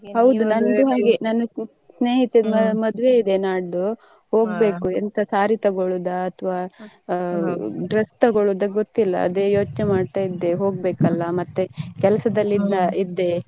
ಸ್ನೇಹಿತೆದು ಮದ್ವೆ ಇದೆ ನಾಡಿದ್ದು ಹೋಗ್ಬೇಕ್ ಎಂತ saree ತಗೋಳೋದ ಅಥವಾ dress ತಗೋಳೋದ ಗುತ್ತಿಲ್ಲ ಅದೇ ಯೋಚ್ನೆ ಮಾಡ್ತಾ ಇದ್ದೆ ಹೋಗ್ಬೇಕ್ ಅಲ್ಲಾ ಮತ್ತೆ ಕೆಲ್ಸದಲ್ಲಿ ಇದ್ದೆ.